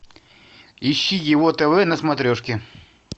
ищи его тв на смотрешке